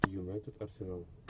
юнайтед арсенал